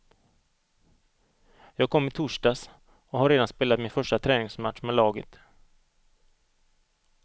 Jag kom i torsdags och har redan spelat min första träningsmatch med laget.